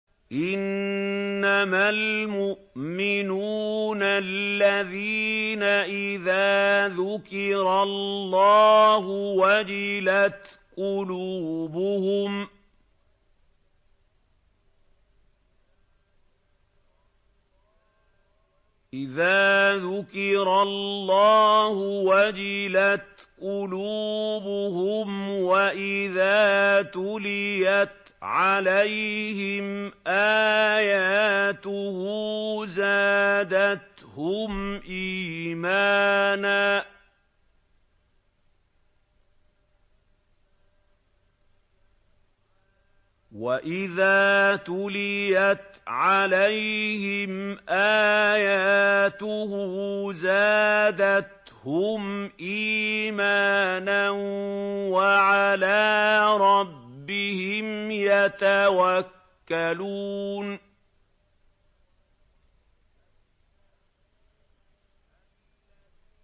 إِنَّمَا الْمُؤْمِنُونَ الَّذِينَ إِذَا ذُكِرَ اللَّهُ وَجِلَتْ قُلُوبُهُمْ وَإِذَا تُلِيَتْ عَلَيْهِمْ آيَاتُهُ زَادَتْهُمْ إِيمَانًا وَعَلَىٰ رَبِّهِمْ يَتَوَكَّلُونَ